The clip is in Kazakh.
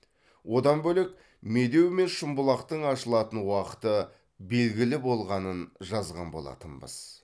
одан бөлек медеу мен шымбұлақтың ашылатын уақыты белгілі болғанын жазған болатынбыз